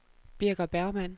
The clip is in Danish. Birger Bergmann